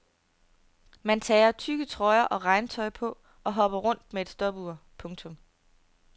Man tager tykke trøjer og regntøj på og hopper rundt med et stopur. punktum